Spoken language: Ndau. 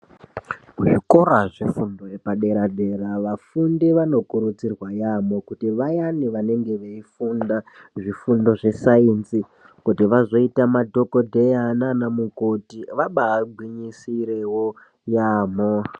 Zvikora zvefundo yepadera dera vafundi vanokurudzirwa yamho kuti vayani vanenge veifunda zvifundo zvesayenzi kuti vazoita madhokodheya nana mukoti vaba gwinyisirewo yamho.